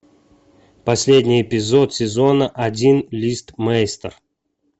последний эпизод сезона один листмейстер